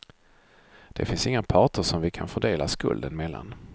Det finns inga parter som vi kan fördela skulden mellan.